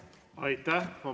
Aitäh!